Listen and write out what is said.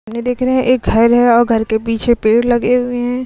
देख रहे हैं एक घर है और घर के पीछे पेड़ लगे हुए हैं।